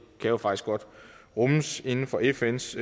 kan jo faktisk godt rummes inden for fns